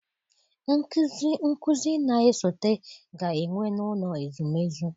Nkụzi na-esote ga-enwe n'ụlọ ezumezu.